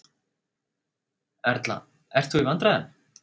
Erla: Ert þú í vandræðum?